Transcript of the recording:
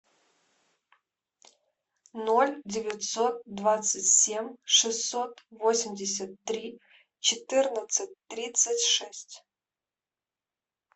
ноль девятьсот двадцать семь шестьсот восемьдесят три четырнадцать тридцать шесть